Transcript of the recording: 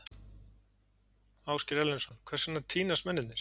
Ásgeir Erlendsson: Hvers vegna týnast mennirnir?